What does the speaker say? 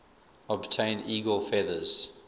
obtain eagle feathers